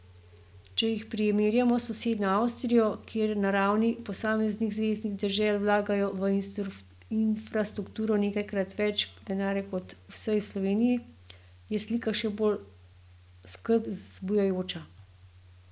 Če jih primerjamo s sosednjo Avstrijo, kjer na ravni posameznih zveznih dežel vlagajo v infrastrukturo nekajkrat več denarja kot v vsej Sloveniji, je slika še bolj skrb zbujajoča.